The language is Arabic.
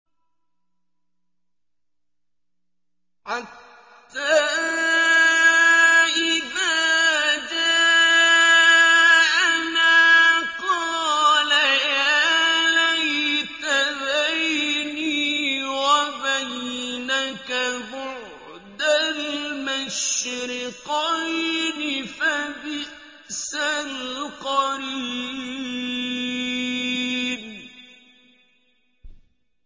حَتَّىٰ إِذَا جَاءَنَا قَالَ يَا لَيْتَ بَيْنِي وَبَيْنَكَ بُعْدَ الْمَشْرِقَيْنِ فَبِئْسَ الْقَرِينُ